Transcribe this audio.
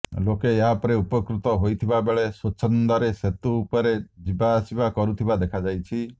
ଲୋକେ ଏହାପରେ ଉପକୃତ ହୋଇଥିବା ବେଳେ ସ୍ୱଚ୍ଛନ୍ଦରେ ସେତୁ ଉପରେ ଯିବା ଆସିବା କରୁଥିବା ଦେଖାଯାଇଛି